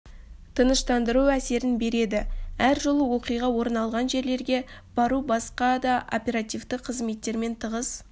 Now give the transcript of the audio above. тыныштандыру әсерін береді әр жолы оқиға орын алған жерлерге бару басқа да оперативті қызметтермен тығыз